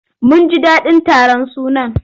Mun ji daɗin taron sunan.